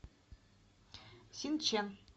синчэн